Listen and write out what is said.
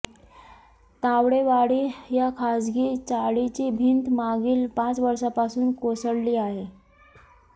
तावडेवाडी या खासगी चाळीची भिंत मागील पाच वर्षापासून कोसळली आहे